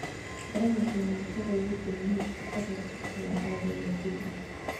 Darawalkii mootada wuu dhameeyay shaqadii wuxuuna aadayaa guriga.